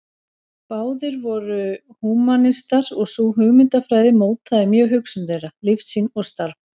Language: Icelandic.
Báðir voru húmanistar og sú hugmyndafræði mótaði mjög hugsun þeirra, lífssýn og starf.